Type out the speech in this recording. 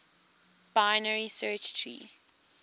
binary search tree